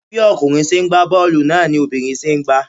Bí ọkùnrin ṣe ń gba boolu náà ni obìnrin ṣe ń gba.